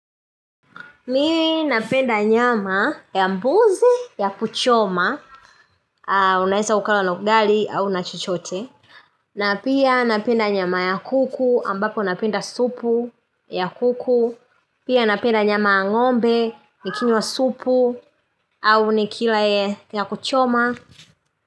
Mimi napenda nyama ya mbuzi ya kuchoma, unaeza ukala na ugali au na chochote na pia napenda nyama ya kuku ambapo na penda supu ya kuku Pia napenda nyama ya ng'ombe nikinywa supu au nikila ya kuchoma.